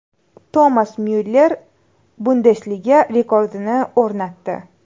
Tomas Myuller Bundesliga rekordini o‘rnatdi.